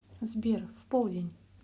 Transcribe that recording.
сбер в полдень